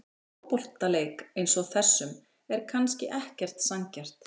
Í fótboltaleik eins og þessum er kannski ekkert sanngjarnt.